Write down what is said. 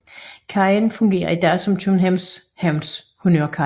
Kajen fungerer i dag som Københavns Havns honnørkaj